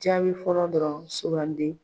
Jaabi fɔlɔ dɔrɔn sugandi.